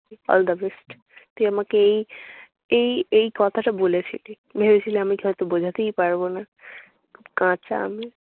all the best তুই আমাকে এই এই এই কথাটা বলেছিলি। ভেবেছিলি আমিতো হয়ত বুঝাতেই পারব না। খুব কাচা আমি।